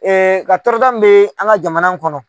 Ee ka tɔrɔda min bɛ an ka jamana kɔnɔ.